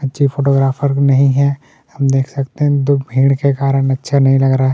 अच्छे फोटोग्राफर भी नहीं हैं हम देख सकते हैं भीड़ के कारण अच्छा नहीं लग रहा हैं।